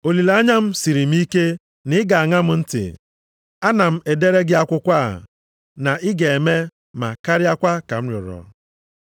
Olileanya m siri m ike na ị ga-aṅa m ntị, ana m edere gị akwụkwọ a, na ị ga-eme, ma karịakwa ka m rịọrọ.